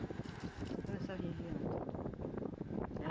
Toda essa região, tudo.